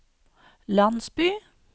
landsby